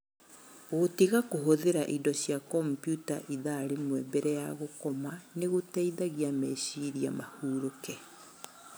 Gũtiga kũhũthĩra indo cia kompiuta thaa ĩmwe mbere ya gũkoma nĩ gũteithagia meciria mahurũke.